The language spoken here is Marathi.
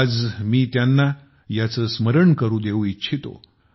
आज मी त्यांना याचे स्मरण करून देऊ इच्छितो